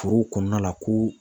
Forow kɔnɔna la ko